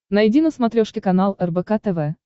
найди на смотрешке канал рбк тв